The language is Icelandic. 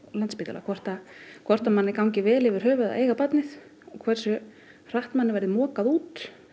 Landspítalann hvort hvort manni gangi vel yfir höfuð að eiga barnið hversu hratt manni verður mokað út